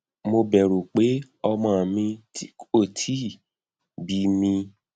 mo bẹrù pé ọmọ mi tí kò tíì bí mi